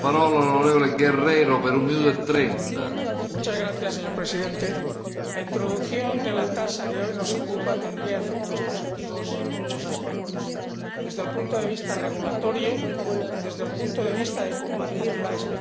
Señor Presidente, la introducción de la tasa que hoy nos ocupa tendría efectos positivos en muchos aspectos desde el punto de vista regulatorio, desde el punto de vista de combatir la especulación, introducir más justicia social,